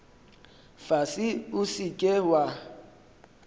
fase o se ke wa